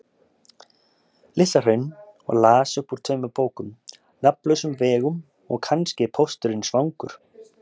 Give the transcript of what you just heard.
Litla-Hraun og las upp úr tveimur bókum: Nafnlausum vegum og Kannski er pósturinn svangur.